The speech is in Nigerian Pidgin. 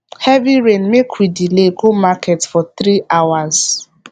heavy rain make we delay go market for three hours